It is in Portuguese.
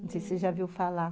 Não sei se você já viu falar.